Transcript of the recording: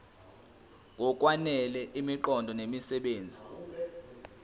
ngokwanele imiqondo nemisebenzi